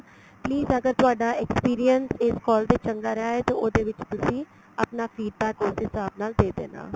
please ਅਗਰ ਤੁਹਾਡਾ experience ਇਸ call ਤੇ ਚੰਗਾ ਰਿਹਾ ਏ ਤੇ ਉਹਦੇ ਵਿੱਚ ਤੁਸੀਂ ਆਪਣਾ feed back ਉਸ ਦੇ ਹਿਸਾਬ ਨਾਲ ਦੇ ਦੇਣਾ